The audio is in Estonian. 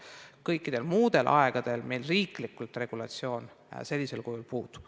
Kõikidel muudel aegadel meil riiklik regulatsioon sellisel kujul puudub.